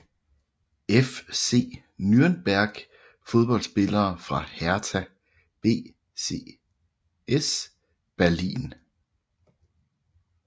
FC Nürnberg Fodboldspillere fra Hertha BSC Berlin